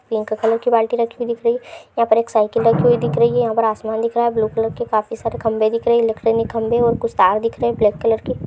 Pink colour की बाल्टी रखी हुई दिख रही है। यहां पर एक साइकिल रखी हुई दिख रही है यहां पे आसमान दिख रहा है ब्लू कलर के काफी सारे खंभे दिख रहे हैं। इलेक्ट्रॉनिक खंभे और कुछ तार दिख रहे हैं ब्लैक कलर के।